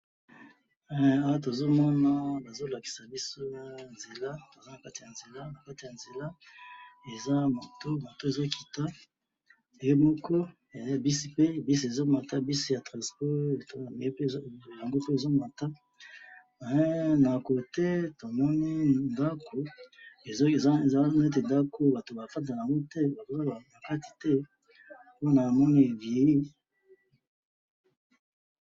Eh! Awa tozomona bazolakisa biso nzela , toza nakati yanzela, Kati yanzela, eza moto, moto ezokita yango moko, eza na buss pe, buss ezomata, buss ya transport, yango pe ezomata, eh! Na coté tomoni ndako, eza neti ndako batu bafandaka naango te, bafandaka nakati te, po namoni est viellir